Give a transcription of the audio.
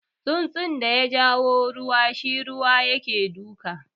Tsunsun da yaja ruwa shi ruwa yake duka